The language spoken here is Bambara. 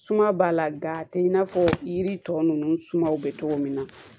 Suma b'a la gan tɛ i n'a fɔ yiri tɔ ninnu sumaw bɛ cogo min na